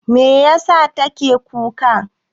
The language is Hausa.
Meyasa take kuka?